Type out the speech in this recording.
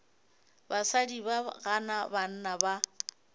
basadi ba gana banna ba